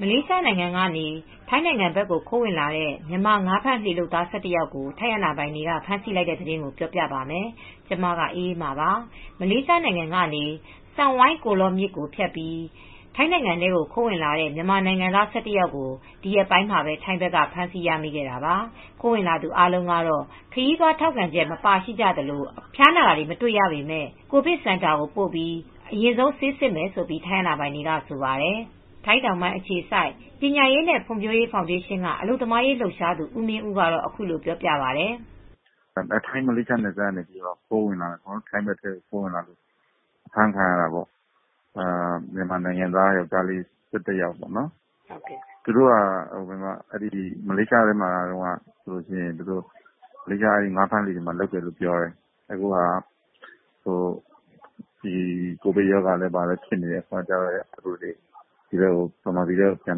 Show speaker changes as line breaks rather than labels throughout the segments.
မလေးရှားနိုင်ငံကနေ ထိုင်းနိုင်ငံဘက် ခိုးဝင်လာတဲ့ မြန်မာငါးဖမ်းလှေလုပ်သား ၁၁ ယောက်ကို ထိုင်းအာဏာပိုင်တွေက ဖမ်းဆီးလိုက်ပါတယ်။ အပြည့်အစုံကို ထိုင်းအခြေစိုက် ဗွီအိုအေမြန်မာပိုင်း သတင်းထောက် မအေးအေးမာ တင်ပြပေးထားပါတယ်။ မလေးရှားနိုင်ငံကနေ ဆန်ဂိုင်းကိုလော့မြစ်ကို ဖြတ်ပြီး ထိုင်းနိုင်ငံထဲ ခိုးဝင်လာတဲ့ မြန်မာနိုင်ငံသား ၁၁ ယောက်ကို ဒီရက်ပိုင်းမှာပဲ ထိုင်းဘက်မှာ ဖမ်းဆီးရမိခဲ့တာပါ။ ခိုးဝင်လာသူ အားလုံးကတော့ ခရီးသွားထောက်ခံချက် မပါရှိကြသလို ဖျားနာတာတော့ မတွေ့ရပေမယ့် ကိုဗစ်စင်တာကိုပို့ပြီး အရင်ဆုံး ဆေးစစ်မယ်လို့ ထိုင်းအာဏာပိုင်တွေက ဆိုပါတယ်။ ထိုင်းတောင်ပိုင်းအခြေစိုက် ပညာရေးနဲ့ ဖွံ့ဖြိုးရေးဖောင်ဒေးရှင်းက အလုပ်သမားရေး လှုပ်ရှားသူ ဦးမင်းဦးကတော့ အခုလိုပြောပြပါတယ်
။ “ထိုင်း-မလေးနယ်စပ်ကနေ ထိုင်းဘက်ထဲကို ခိုးဝင်လာတာပေါ့။ ထိုင်းဘက်ထဲ ခိုးဝင်လာတဲ့ မြန်မာနိုင်ငံသား ယောက်ျားလေး ၁၁ ယောက်ပေါ့။ သူတို့ဟာ မလေးရှား ငါးဖမ်းလှေတွေမှာ လုပ်တယ်ပြောတယ်။ အခုက ကိုဗစ်ရောဂါတွေ ဖြစ်နေတော့ မြန်မာပြည်ထဲ ပြန်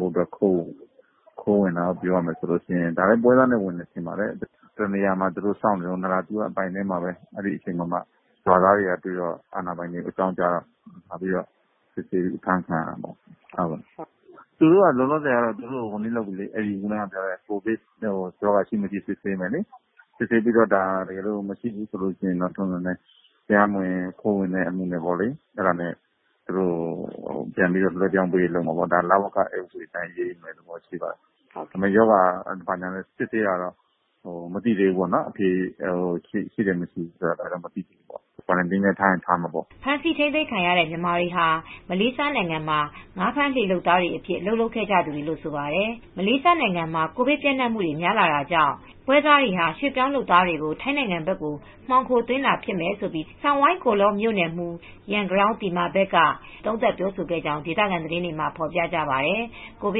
ဖို့အတွက် ခိုးဝင်ကြတယ်။ ပွဲစားနဲ့ ခိုးဝင်တယ်ထင်တယ်။ တနေရာမှာ စောင့်နေတုန်း နာရာသီဝခရိုင်ထဲမှာပဲ ရွာသားတွေကတွေ့တော့ အာဏာပိုင်တွေကို အကြောင်းကြားတော့ စစ်ဆေးပြီး အဖမ်းခံရတာပေါ့။ သူတို့ ကိုဗစ်ရှိမရှိ စစ်ဆေးပေးမယ်၊ မရှိဘူးဆိုရင်တော့ ခိုးဝင်တာဆိုတော့ သူတို့ကို လဝကဥပဒေအတိုင်း အရေးယူမယ့်သဘော ရှိပါတယ်။ ရောဂါအဖြေကတော့ ရှိတယ် မရှိဘူးတော့ မသိသေးဘူး။ စောင့်ကြည့်ရေးစင်တာမှာလည်း ထားချင်ထားဦးမှာပေါ့။
” ဖမ်းဆီးထိန်းသိမ်းခံ မြန်မာတွေဟာ မလေးရှားနိုင်ငံမှာ ငါးဖမ်းလှေလုပ်သားတွေအဖြစ် အလုပ်လုပ်ခဲ့ကြရသူတွေလို့ ဆန်ဂိုင်းကိုလော့မြို့နယ်မှူး ရန်ဂရောင်းသီမာဘတ်က ဆိုပါတယ်။ မလေးရှားနိုင်ငံမှာ ကိုဗစ်ပျံ့နှံ့မှုတွေ များနေတာကြောင့် အလုပ်သမားပွဲစားတွေဟာ ရွှေ့ပြောင်းလုပ်သားတွေကို ထိုင်းနိုင်ငံဘက်ကို မှောင်ခိုသွင်းတာဖြစ်မယ်လို့ ရန်ဂရောင်းသီမာဘတ်က သုံးသပ်ပြောဆိုခဲ့ကြောင်း ဒေသခံသတင်းတွေမှာ ဖော်ပြကြပါတယ်။ ကိုဗ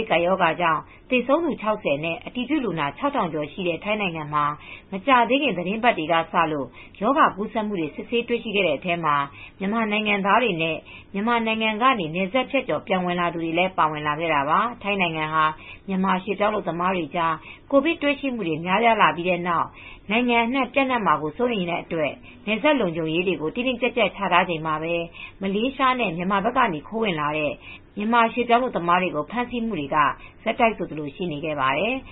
စ်ကပ်ရောဂါကြောင့် သေဆုံးသူ ၆၀ နဲ့ အတည်ပြုလူနာ ၆,၀၀၀ ကျော်ရှိတဲ့ ထိုင်းနိုင်ငံမှာ မကြာသေးခင် သီတင်းပတ်တွေကစလို့ ရောဂါကူးစက်မှုတွေ စစ်ဆေးတွေ့ရှိခဲ့တဲ့အထဲမှာ မြန်မာနိုင်ငံသားတွေနဲ့ မြန်မာနိုင်ငံကနေ နယ်စပ်ဖြတ်ကျော် ပြန်လာသူတွေလည်း ပါဝင်လာခဲ့တာပါ။ ထိုင်းနိုင်ငံဟာ မြန်မာရွှေ့ပြောင်းလုပ်သားတွေကြား ကိုဗစ်ပိုးတွေ့ရှိမှု များပြားပြီး နိုင်ငံအနှံ့ ပျံ့နှံ့မှာကို စိုးရိမ်ရတဲ့အတွက် နယ်စပ်လုံခြုံရေးတွေကို တင်းတင်းကျပ်ကျပ် ချထားချိန်မှာပဲ မလေးရှားနဲ့ မြန်မာက ခိုးဝင်နေတဲ့ မြန်မာရွှေ့ပြောင်း အလုပ်သမားတွေကို ဖမ်းဆီးမှုတွေက ဆက်တိုက်ဆိုသလို ရှိနေခဲ့ပါတယ်။